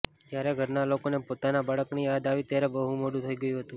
જ્યારે ઘરના લોકોને પોતાના બાળકની યાદ આવી ત્યારે બહું મોડું થઈ ગયું હતું